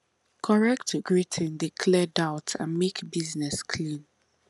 correct greeting dey clear doubt and make business clean